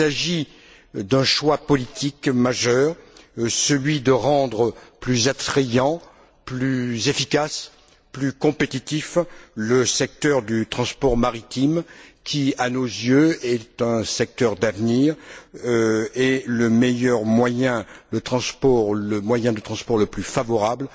Il s'agit d'un choix politique majeur celui de rendre plus attrayant, plus efficace, plus compétitif le secteur du transport maritime qui, à nos yeux, est un secteur d'avenir et le moyen de transport le plus favorable